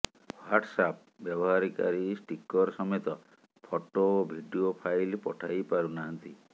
WhatsApp ବ୍ୟବହାରକାରୀ sticker ସମେତ photo ଓ ଭିଡିଓ ଫାଇଲ୍ ପଠାଇ ପାରୁନାହାନ୍ତି